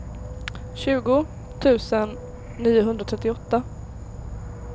tjugo tusen niohundratrettioåtta